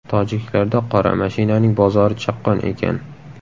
Tojiklarda qora mashinaning bozori chaqqon ekan.